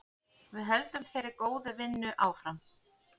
Við höldum þeirri góðu vinnu áfram.